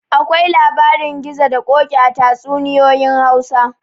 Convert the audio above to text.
Akwai labarin gizo da koki a tatsuninyoyin Hausa